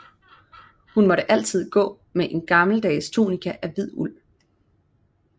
Hun måtte altid gå med en gammeldags tunika af hvid uld